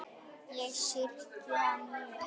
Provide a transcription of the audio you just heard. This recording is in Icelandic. Ég syrgi hann mjög.